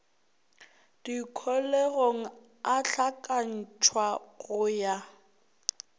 dikholegong a hlakantšhwa go ya